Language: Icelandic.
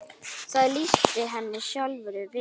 Það lýsti henni sjálfri vel.